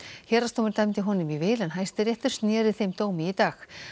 héraðsdómur dæmdi honum í vil en Hæstiréttur snéri þeim dómi í dag